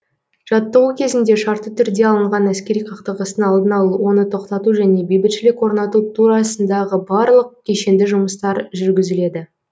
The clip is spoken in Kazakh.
жаттығу кезінде шартты түрде алынған әскери қақтығыстың алдын алу оны тоқтату және бейбітшілік орнату турасындағы барлық кешенді жұмыстар жүргізіледі